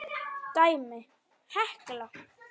Dæmi: Hekla